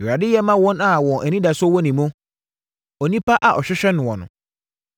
Awurade yɛ ma wɔn a wɔn anidasoɔ wɔ ne mu, onipa a ɔhwehwɛ noɔ no;